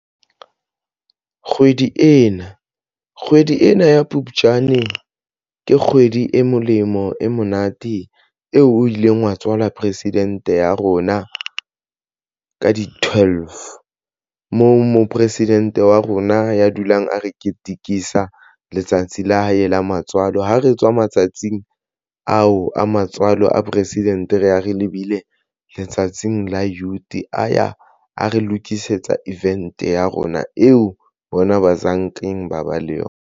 Kgwedi ena kgwedi ena ya Phupjane ke kgwedi e molemo e monate eo o ileng wa tswala president ya rona ka di-twelve moo mo presidente wa rona ya dulang a re ketikisa letsatsi la hae la matswalo. Ha re tswa matsatsing ao a matswalo a president, re ya re lebile letsatsing la youth a ya a re lokisetsa event ya rona eo bona ba zankeng ba ba le yona.